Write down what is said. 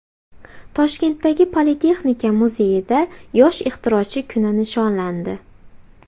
Toshkentdagi Politexnika muzeyida Yosh ixtirochi kuni nishonlandi.